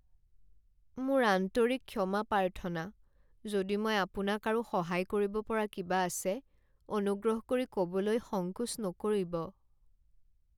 মোৰ আন্তৰিক ক্ষমা প্ৰাৰ্থনা! যদি মই আপোনাক আৰু সহায় কৰিব পৰা কিবা আছে, অনুগ্ৰহ কৰি ক'বলৈ সংকোচ নকৰিব।